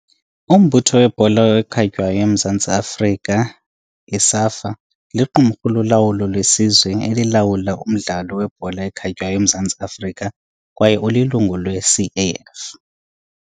Umbutho weBhola ekhatywayo woMzantsi Afrika Umbutho webhola ekhatywayo woMzantsi Afrika, iSAFA, liqumrhu lolawulo lesizwe elilawula umdlalo webhola ekhatywayo eMzantsi Afrika kwaye ulilungu lweCAF.